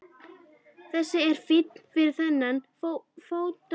Þessi er fín fyrir þennan fótalausa sagði Stefán og glotti.